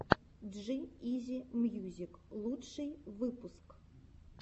джи изи мьюзик лучший выпуск